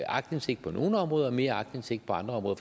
aktindsigt på nogle områder og mere aktindsigt på andre områder